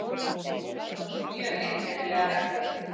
Þetta voru mjög einkennilegar reglur